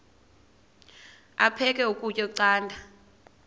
aphek ukutya canda